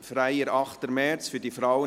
«Freier 8. März für die Frauen*